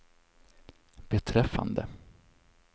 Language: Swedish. beträffande